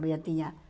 Eu já tinha